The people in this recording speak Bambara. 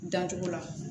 Dancogo la